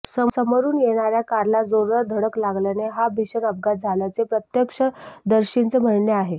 समोरुन येणार्या कारला जोरदार धडक लागल्याने हा भिषण अपघात झाल्याचे प्रत्यक्षदर्शींचे म्हणणे आहे